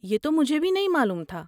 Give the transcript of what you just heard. یہ تو مجھے بھی نہیں معلوم تھا۔